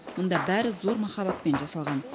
мұнда бәрі зор махаббатпен жасалған